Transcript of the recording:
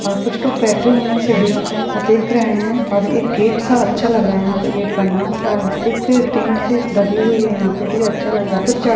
और कुछ लोग बेठे हुवे है सीडीओ पे और देख रहे है और एक गेट सा अच्छा लग रहा यहाँ पे गेट बना हुवा हैं। अ एक टिन शिट डली हुई है यहा पे भी अच्छा लग रहा कुछ अ --